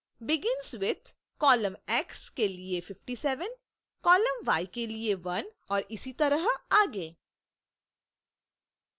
begins with :